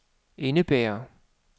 indebærer